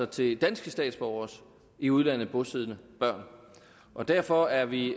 til danske statsborgeres i udlandet bosiddende børn og derfor er vi